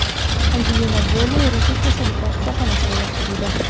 Anjelina Joli ruhiy kasalliklar shifoxonasiga yotqizildi.